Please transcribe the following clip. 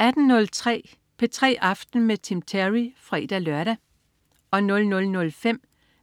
18.03 P3 aften med Tim Terry (fre-lør) 00.05